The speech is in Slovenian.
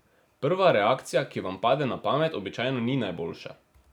Prva reakcija, ki vam pade na pamet, običajno ni najboljša.